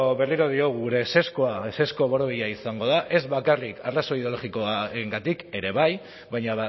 berriro diogu gure ezezkoa ezezko borobila izango da ez bakarrik arrazoi ideologikoengatik ere bai baina